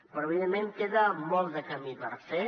però evidentment queda molt de camí per fer